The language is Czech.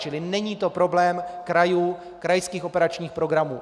Čili není to problém krajů, krajských operačních programů.